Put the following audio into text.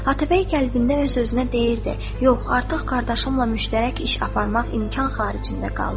Atabəy qəlbində öz-özünə deyirdi: "Yox, artıq qardaşımla müştərək iş aparmaq imkan xaricində qaldı."